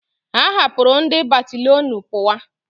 Ha hapuru ndi bataliọnu puwa